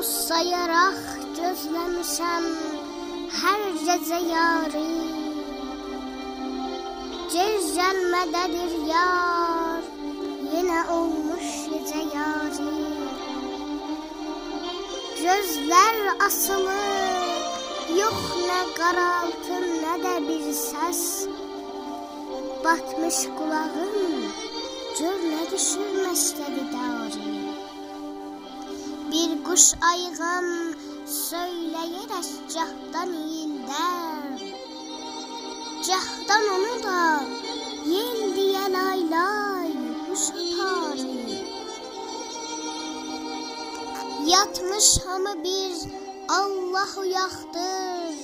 اولدوز سایاراق گوزله میشم هر گیجه یاری گج گلمه ده دیر یار یینه اولموش گیجه یاری گؤزلر آسیلی یوخ نه قارالتی نه ده بیر سس باتمیش قولاغیم گؤرنه دؤشور مکده دی داری بیر قوش آییغام سویلیه رک گاهدان اییلده ر گاهدان اونودا ییل دییه لای-لای هوش آپاری یاتمیش هامی بیر آللاه اویاقدیر